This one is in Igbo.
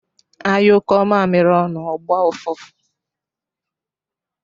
Anyukọ mamiri ọnụ ọ gbọ ụfụfụ